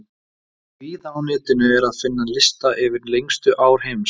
Víða á netinu er að finna lista yfir lengstu ár heims.